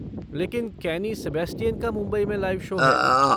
लेकिन केनी सबैस्टियन का मुंबई में लाइव शो है।